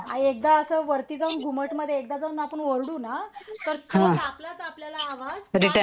आणि एकदा असं वरती जाऊन घुमट मध्ये एकदा जाऊन आपण ओरडू ना तर आपलाच आपल्याला आवाज